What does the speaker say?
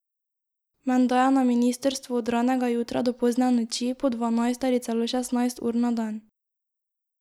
Menda je na ministrstvu od ranega jutra do pozne noči, po dvanajst ali celo šestnajst ur na dan.